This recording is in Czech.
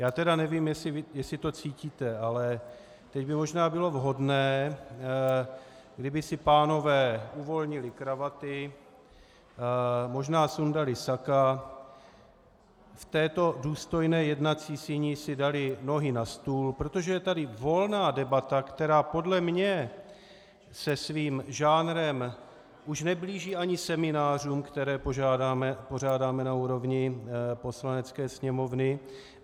Já tedy nevím, jestli to cítíte, ale teď by možná bylo vhodné, kdyby si pánové uvolnili kravaty, možná sundali saka, v této důstojné jednací síni si dali nohy na stůl, protože je tady volná debata, která podle mě se svým žánrem už neblíží ani seminářům, které pořádáme na úrovni Poslanecké sněmovny.